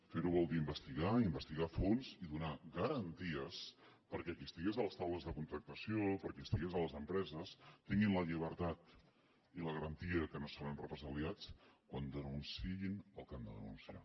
fer ho vol dir investigar investigar a fons i donar garanties perquè qui estigués a les taules de contractació qui estigués a les empreses tingui la llibertat i la garantia que no serà represaliat quan denunciï el que ha de denunciar